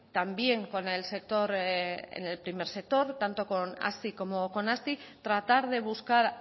también con el sector en el primer sector tanto con hazi como con asti tratar de buscar